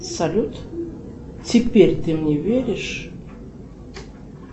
салют теперь ты мне веришь